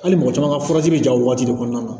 Hali mɔgɔ caman ka furaji bɛ ja o waati de kɔnɔna na